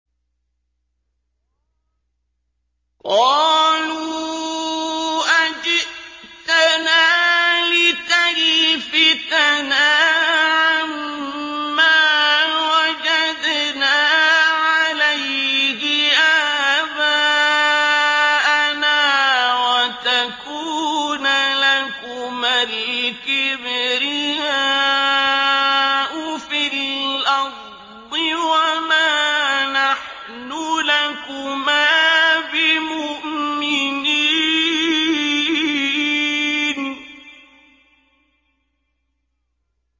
قَالُوا أَجِئْتَنَا لِتَلْفِتَنَا عَمَّا وَجَدْنَا عَلَيْهِ آبَاءَنَا وَتَكُونَ لَكُمَا الْكِبْرِيَاءُ فِي الْأَرْضِ وَمَا نَحْنُ لَكُمَا بِمُؤْمِنِينَ